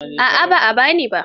A'a ba a ba ni ba.